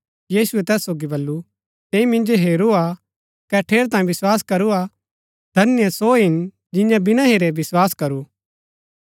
यीशुऐ तैस सोगी बल्लू तैंई मिन्जो हेरूरा हा कै ठेरैतांये विस्वास करू हा धन्य सो हिन जियें विना हेरै विस्वास करू